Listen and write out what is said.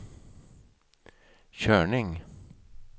körning